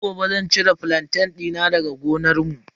Sai gobe zan cire flantain dina daga gonarmu.